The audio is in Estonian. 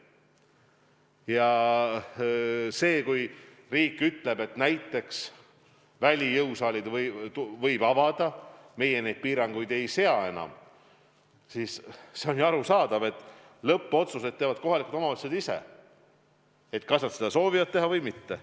Ja isegi kui riik ütleb, et näiteks välijõusaalid võib avada, meie piiranguid ei sea enam, siis on ju arusaadav, et lõppotsused teevad kohalikud omavalitsused, kas nad seda soovivad teha või mitte.